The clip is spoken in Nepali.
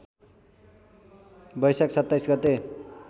बैशाख २७ गते